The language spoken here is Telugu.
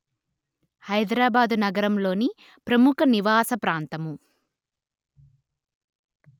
హైదరాబాదు నగరంలోని ప్రముఖ నివాస ప్రాంతము